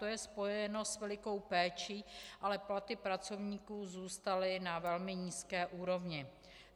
To je spojeno s velikou péčí, ale platy pracovníků zůstaly na velmi nízké úrovni.